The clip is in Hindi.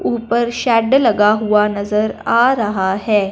ऊपर शेड लगा हुआ नजर आ रहा है।